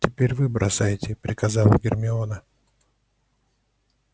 теперь вы бросайте приказала гермиона